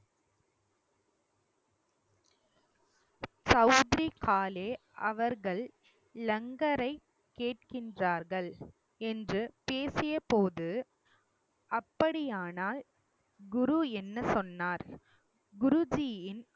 சவுத்ரி காலே அவர்கள் லங்கரை கேட்கின்றார்கள் என்று பேசியபோது அப்படியானால் குரு என்ன சொன்னார் குருஜியின்